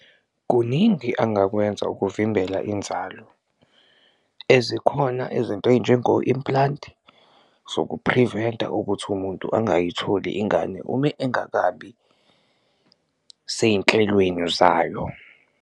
Kuningi angakwenza ukuvimbela inzalo ezikhona izinto ey'njengo-implant zokuphriventa ukuthi umuntu ungayitholi ingane, ume engakabi sey'nhlelweni zayo.